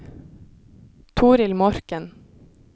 Torill Morken